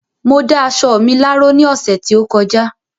Mo dá aṣọ mi láró ní ọ̀sẹ̀ tí ó kọjá